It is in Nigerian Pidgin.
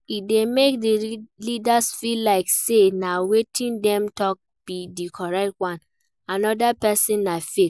E de make di leaders feel like say na wetin dem talk be di correct one another persin na fake